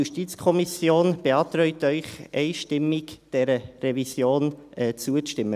Die JuKo beantragt Ihnen einstimmig, dieser Revision zuzustimmen.